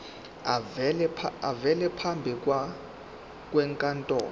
avele phambi kwenkantolo